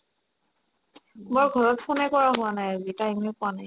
মই ঘৰত ফোনে কৰা হোৱা নাই আজি time য়ে পোৱা নাই